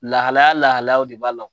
Lahalaya lahalayaw de ba la o.